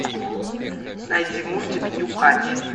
найди мультик нюхач